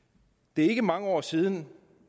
det er ikke mange år siden